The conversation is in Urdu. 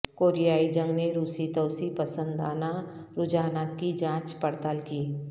کوریائی جنگ نے روسی توسیع پسندانہ رجحانات کی جانچ پڑتال کی